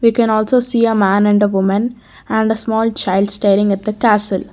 we can also see a man and a woman and a small child starring at the castle.